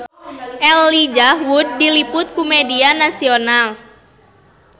Elijah Wood diliput ku media nasional